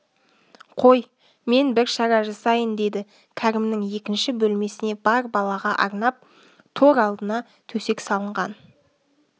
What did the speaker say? қой мен бір шара жасайын деді кәрімнің екінші бөлмесіне бар балаға арнап тор алдына төсек салынған